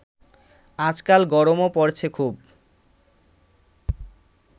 আজকাল গরমও পড়েছে খুব